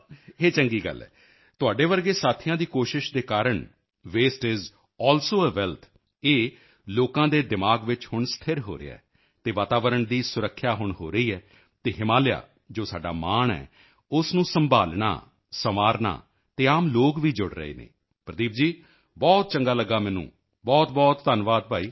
ਇਹ ਚੰਗੀ ਗੱਲ ਹੈ ਤੁਹਾਡੇ ਵਰਗੇ ਸਾਥੀਆਂ ਦੀ ਕੋਸ਼ਿਸ਼ ਦੇ ਕਾਰਨ waste is wealth waste is also a wealth waste is also a wealth ਇਹ ਲੋਕਾਂ ਦੇ ਦਿਮਾਗ ਵਿੱਚ ਹੁਣ ਸਥਿਰ ਹੋ ਰਿਹਾ ਹੈ ਅਤੇ ਵਾਤਾਵਰਣ ਦੀ ਸੁਰੱਖਿਆ ਹੁਣ ਹੋ ਰਹੀ ਹੈ ਅਤੇ ਹਿਮਾਲਿਆ ਜੋ ਸਾਡਾ ਮਾਣ ਹੈ ਉਸ ਨੂੰ ਸੰਭਾਲ਼ਣਾ ਸੰਵਾਰਨਾ ਅਤੇ ਆਮ ਲੋਕ ਵੀ ਜੁੜ ਰਹੇ ਹਨ ਪ੍ਰਦੀਪ ਜੀ ਬਹੁਤ ਚੰਗਾ ਲੱਗਾ ਮੈਨੂੰ ਬਹੁਤਬਹੁਤ ਧੰਨਵਾਦ ਭਾਈ